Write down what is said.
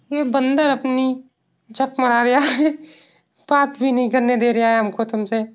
ये बंदा अपनी झक मारया है। बात भी नहीं करने दे रया है हमको तुमसे।